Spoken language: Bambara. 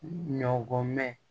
Ɲɔgɔn mɛn